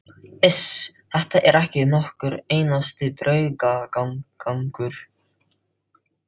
Iss, þetta er ekki nokkur einasti draugagangur.